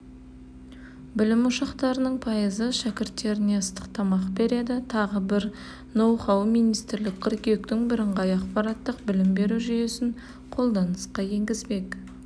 білім ошақтарының пайызы шәкірттеріне ыстық тамақ береді тағы бір ноу-хау министрлік қыркүйектен біріңғай ақпараттық білім беру жүйесін қолданысқа енгізбек